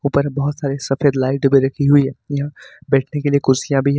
ऊपर बहुत सारे सफेद लाइट भी रखी हुई हैं यहां बैठने के लिए कुर्सियां भी --